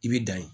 I bi dan ye